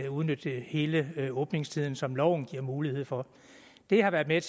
udnytte hele den åbningstid som loven giver mulighed for det har været med